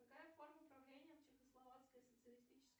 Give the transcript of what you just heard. какая форма правления в чехословацкой социалистической